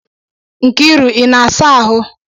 Nkiru, ị na-asa ahụ?